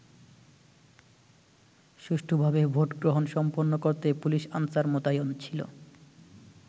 সুষ্ঠুভাবে ভোটগ্রহণ সম্পন্ন করতে পুলিশ-আনসার মোতায়েন ছিল।